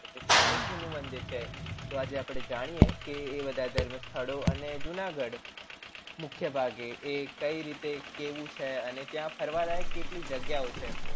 જાય શ્રી કૃષ્ણ નું મંદિર છે તો આજે અપડે જાણીએ કે એ બધા ધર્મ સ્થળ અને જુનાગઢ મુખ્ય ભાગે એ કેવું છે અને ત્યાં ફરવા લાયક કેલિક જગ્યાઓ છે